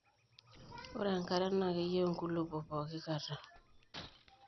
ore enkare naa keyiu inkulopok pooki kata